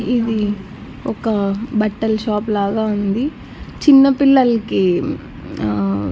ఇది ఒక బట్టల్ షాప్ లాగా ఉంది చిన్నపిల్లల్కి ఆ--